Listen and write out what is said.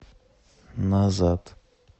назад